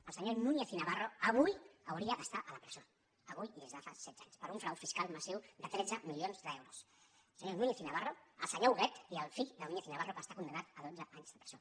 el senyor núñez i navarro avui hauria d’estar a la presó avui i des de fa setze anys per un frau fiscal massiu de tretze milions d’euros el senyor núñez i navarro el senyor huguet i el fill de núñez i navarro que està condemnat a dotze anys de presó